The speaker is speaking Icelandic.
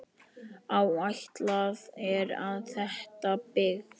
Áætlað er að þétta byggð.